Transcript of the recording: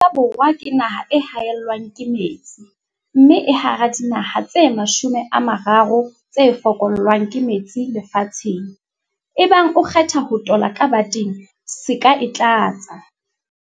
Afrika Borwa ke naha e haellwang ke metsi, mme e hara dinaha tse 30 tse fokollwang ke metsi lefatsheng. Ebang o kgetha ho tola ka bateng, se ka e tlatsa.